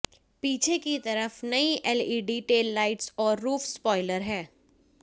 पीछे की तरफ नई एलईडी टेललाइट्स और रूफ स्पॉइलर है